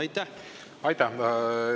Aitäh!